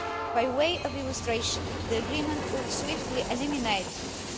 By way of illustration the agreement would swiftly eliminate EUR